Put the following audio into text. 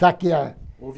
Saquear.